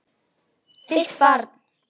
Þitt barn.